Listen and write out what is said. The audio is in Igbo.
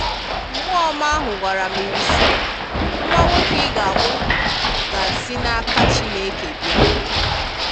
Mmụọ Ọma ahụ gwara Mịrị sị, “Nwa nwoke ị ga-amụ ga si n’aka Chineke bịa.”